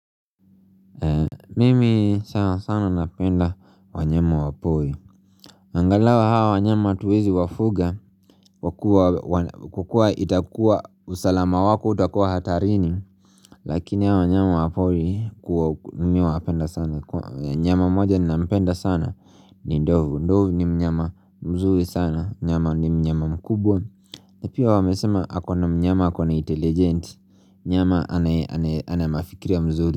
Mimi sana sana napenda wanyama wa pori na angalau hawa wanyama hatuwezi wafuga Kwa kuwa itakuwa usalama wako utakuwa hatarini Lakini hawa wanyama wa pori ku mi huwapenda sana. Mnyama moja ninampenda sana ni ndovu. Ndovu ni mnyama mzuri sana ni mnyama ni mnyama mkubwa na pia wamesema ako na mnyama ako na intelligent Mnyama anaye ana mafikirio mzuri.